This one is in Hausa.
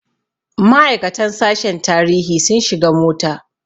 Ma'aikatan sashen tarihi sun shiga mota.